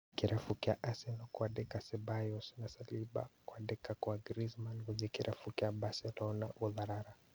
Kĩrabu kĩa Arsenal kwandĩka Ceballos na Salliba, kwandĩka kwa Griezmann gũthĩĩ kĩrabu kĩa Barcelona gũtharara